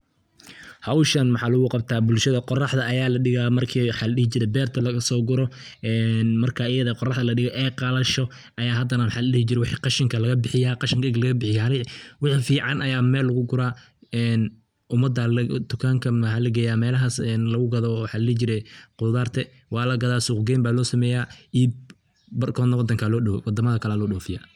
Howsha maxaa lugu qabta bulshada, qoraxda aya ladhigaa marka maxa ladhihi jiree dartaa lagaso guro een marka ayade qoraxda ladhigo ay qalasho aya hadana maxa ladhihi jire wixi qashinke laga bixiyaa, qashink egi laga bixiyo wixii fican aya mel lugu guraa een umada aa tukanka maxaa lageeya melahaas lugu gaado maxa ladhihi jire qudarta waa lagaada suq geyn baa loo sameeya iib barkodana wadamada kale aya loo dhofiya.